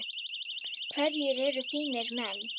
Hverjir eru þínir menn?